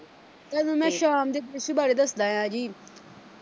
ਤੁਹਾਨੂੰ ਮੈਂ ਸ਼ਾਮ ਦੇ ਦ੍ਰਿਸ਼ ਬਾਰੇ ਦੱਸਦਾ ਐ ਜੀ